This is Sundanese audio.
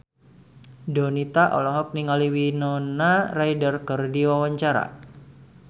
Donita olohok ningali Winona Ryder keur diwawancara